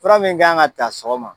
Fura min k'an kan ka taa sɔgɔma.